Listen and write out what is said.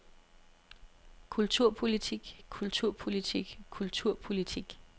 kulturpolitik kulturpolitik kulturpolitik